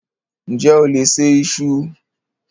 Ǹjẹ́ o lè se iṣu?